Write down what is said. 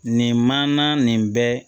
Nin manana nin bɛ